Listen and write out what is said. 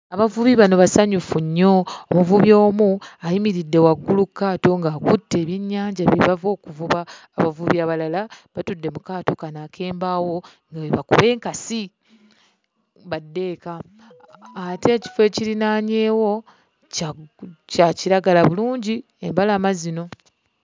Abavubi bano basanyufu nnyo, omuvubi omu ayimiridde waggulu ku kaato ng'akutte ebyennyanja bye bava okuvuba, abavubi abalala batudde mu kaato kano ak'embaawo nga bwe bakuba enkasi badde eka. Ate ekifo ekirinaanyeewo kya kya kiragala bulungi, embalama zino.